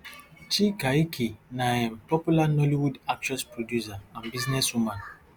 chika ike na um popular nollywood actress producer and businesswoman